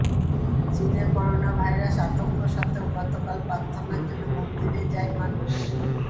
চীনে করোনাভাইরাস আতঙ্ক সত্ত্বেও গতকাল প্রার্থনার জন্য মন্দিরে যায় মানুষ